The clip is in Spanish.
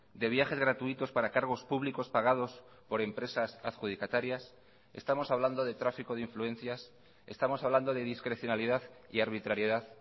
de viajes gratuitos para cargos públicos pagados por empresas adjudicatarias estamos hablando de tráfico de influencias estamos hablando de discrecionalidad y arbitrariedad